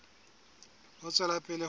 ho tswela pele ho ya